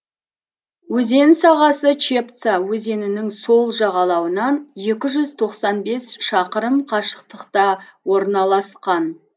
өзен сағасы чепца өзенінің сол жағалауынан екі жүз тоқсан бес шақырым қашықтықта орналасқан